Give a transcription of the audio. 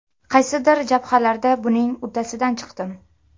Qaysidir jabhalarda buning uddasidan chiqdim.